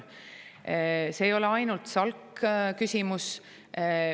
See ei ole ainult SALK‑i küsimus.